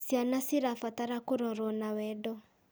Ciana cirabatara kũrorwo na wendo.